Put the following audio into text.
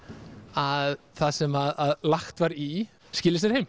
að það sem lagt var í skili sér heim